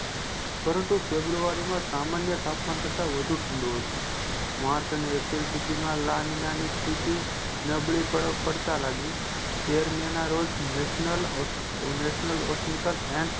પરંતુ february માં સામાન્ય તાપમાન કરતા વઘુ ઠંડું હતું march અને april સુઘી માં નાની નાની સ્થિતિ નબળી પડતાલાગી તેર મહિના રોજ national osenice and